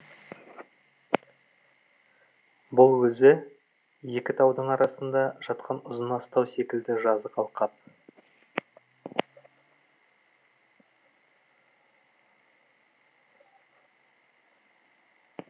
бұл өзі екі таудың арасында жатқан ұзын астау секілді жазық алқап